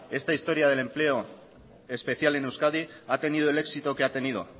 esta historia del empleo especial en euskadi ha tenido el éxito que ha tenido